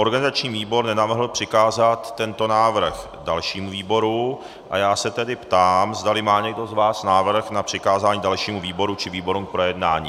Organizační výbor nenavrhl přikázat tento návrh dalšímu výboru a já se tedy ptám, zda má někdo z vás návrh na přikázání dalšímu výboru či výborům k projednání.